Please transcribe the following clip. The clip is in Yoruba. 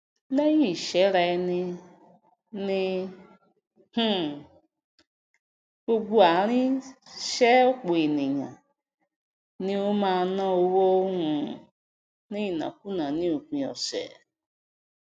léyìn ìsèrá eni ní um gbogb ààrín sè òpò ènìyàn ni ó máá ná owó um ní ìnákùná ní òpin òsè